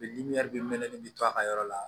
mɛnɛ bi to a ka yɔrɔ la